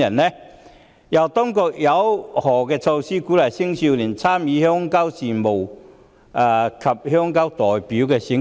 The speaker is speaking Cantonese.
此外，當局有何措施鼓勵青少年參與鄉郊事務及鄉郊代表選舉？